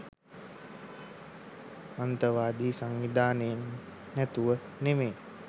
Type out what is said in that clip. අන්තවාදී සංවිධාන නැතුව නෙමෙයි